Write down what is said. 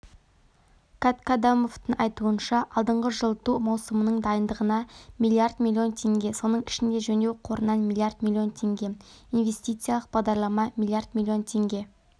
каткадамовтың айтуынша алдағы жылыту маусымының дайындығына миллиард миллион теңге соның ішінде жөндеу қорынан миллиард миллион теңге инвестициялық бағдарлама миллиард миллион теңге